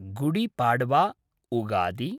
Gudi Padwa Ugadi